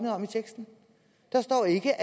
om i teksten der står ikke